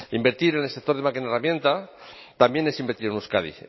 invertir en el sector de máquina herramienta también es invertir en euskadi